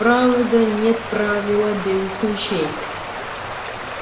правда нет правила без исключения